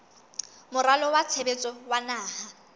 moralo wa tshebetso wa naha